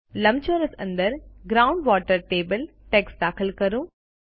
લંબચોરસ અંદર ground water table text દાખલ કરો